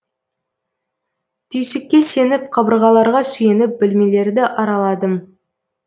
түйсікке сеніп қабырғаларға сүйеніп бөлмелерді араладым